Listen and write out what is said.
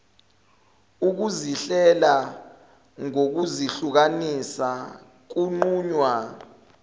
ukuzihlela ngokuzihlukanisa kunqunywa